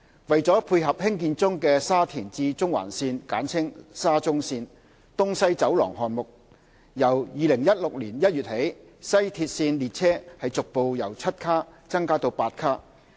為配合興建中的沙田至中環線"東西走廊"項目，由2016年1月起，西鐵線列車逐步由7卡增加至8卡。